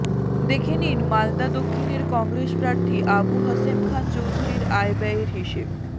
দেখে নিন মালদা দক্ষিণের কংগ্রেস প্রার্থী আবু হাশেম খান চৌধুরীর আয় ব্যয়ের হিসেব